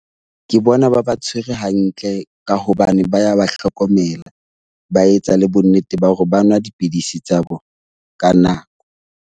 Ke bona ba ba tshwere hantle ka hobane ba ya ba hlokomela, ba etsa le bonnete ba hore ba nwa dipidisi tsa bona ka nako.